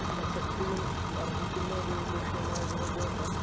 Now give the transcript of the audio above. പ്രസക്തിയും അർഹിക്കുന്ന എന്ന ഒരു വിഷയം ആയതുകൊണ്ട് തന്നെ